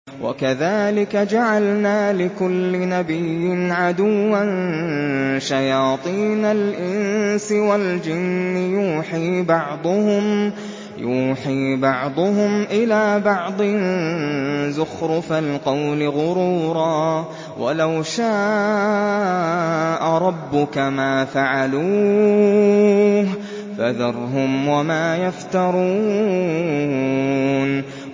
وَكَذَٰلِكَ جَعَلْنَا لِكُلِّ نَبِيٍّ عَدُوًّا شَيَاطِينَ الْإِنسِ وَالْجِنِّ يُوحِي بَعْضُهُمْ إِلَىٰ بَعْضٍ زُخْرُفَ الْقَوْلِ غُرُورًا ۚ وَلَوْ شَاءَ رَبُّكَ مَا فَعَلُوهُ ۖ فَذَرْهُمْ وَمَا يَفْتَرُونَ